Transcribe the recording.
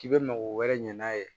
K'i bɛ mago wɛrɛ ɲɛ n'a ye